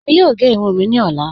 Ẹ̀mí yóò gé ìrùn mí ni ọ̀lá.